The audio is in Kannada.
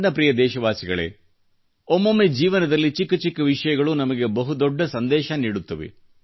ನನ್ನ ಪ್ರಿಯ ದೇಶವಾಸಿಗಳೇ ಒಮ್ಮೊಮ್ಮೆ ಜೀವನದಲ್ಲಿ ಚಿಕ್ಕ ಚಿಕ್ಕ ವಿಷಯಗಳೂ ನಮಗೆ ಬಹುದೊಡ್ಡ ಸಂದೇಶ ನೀಡುತ್ತವೆ